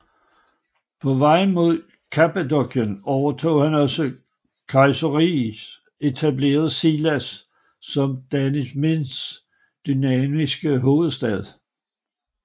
På vej mod Kappadokien overtog han også Kayseri og etablerede Sivas som Danişmends dynastiet hovedstad